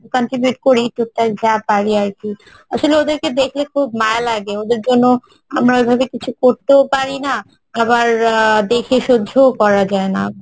contribute করি total যা পারি আরকি আসলে ওদেরকে দেখলে খুব মায়া লাগে ওদের জন্য আমরা ঐভাবে কিছু করতেও পারিনা আবার আহ দেখে সহ্যও করা যায়না